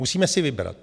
Musíme si vybrat.